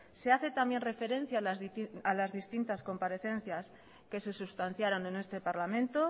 se hace también referencia a las distintas comparecencias que se sustanciaran en este parlamento